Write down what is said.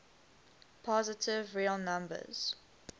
positive real numbers